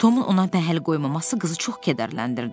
Tomun ona pəhəl qoymaması qızı çox kədərləndirdi.